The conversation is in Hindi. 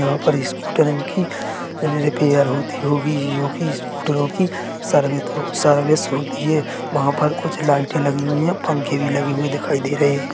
जहां पर स्कूटरो की रिपेयर होती होगी जो की स्कूटरो की सर्वित सर्विस होती हैं वहां पर कुछ लाइटें लगी हुई है पंखे भी लगे हुए दिखाई दे रहे--